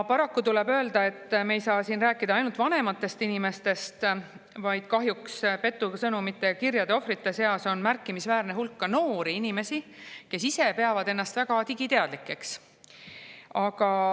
Paraku tuleb öelda, et me ei saa siin rääkida ainult vanematest inimestest, vaid petusõnumite ja -kirjade ohvrite seas on märkimisväärne hulk ka noori inimesi, kes ise peavad ennast väga digiteadlikeks.